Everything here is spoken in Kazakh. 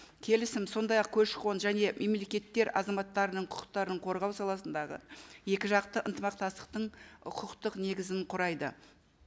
келісім сондай ақ көші қон және мемлекеттер азаматтарының құқықтарын қорғау саласындағы екі жақты ынтымақтастықтың құқықтық негізін құрайды